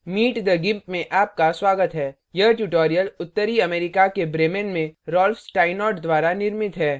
meet the gimp में आपका स्वागत है यह ट्यूटोरियल उत्तरी germany के bremen में rolf steinort द्वारा निर्मित है